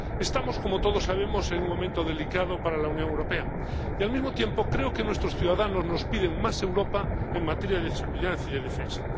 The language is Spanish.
Estamos, como todos sabemos, en un momento delicado para la Unión Europea y, al mismo tiempo, creo que nuestros ciudadanos nos piden más Europa en materia de seguridad y de defensa.